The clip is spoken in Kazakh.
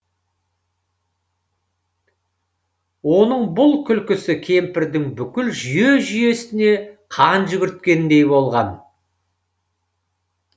оның бұл күлкісі кемпірдің бүкіл жүйе жүйесіне қан жүгірткендей болған